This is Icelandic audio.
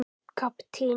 Ég er að fara til mömmu.